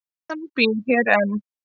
Hann býr hér enn.